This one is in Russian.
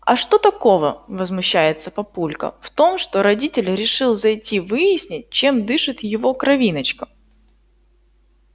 а что такого возмущается папулька в том что родитель решил зайти выяснить чем дышит его кровиночка